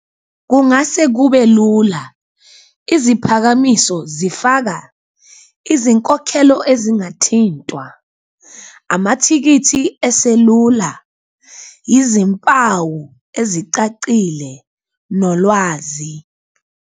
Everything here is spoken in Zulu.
Kungase kube lula iziphakamiso zifaka izinkokhelo ezingathintwa, amathikithi eselula, izimpawu ezicacile nolwazi.